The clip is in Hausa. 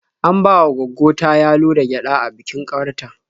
An bawa gwaggo ta yalo da gyaɗa a bikin ƙawar ta.